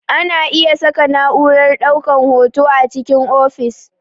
Ana iya saka na'urar ɗaukar hoto a cikin ofis